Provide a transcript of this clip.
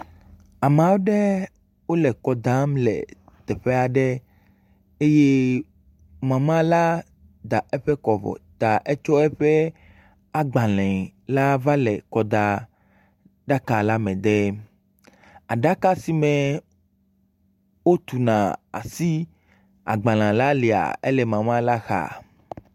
Ame aɖe wole kɔ dam le teƒe aɖe eye mema la da eƒe kɔ vɔ ta etsɔ eƒe agbalẽ va le kɔ da aɖaka le me dem. Aɖaka si me wotuna asi agbalẽ la lia ele mema la xa.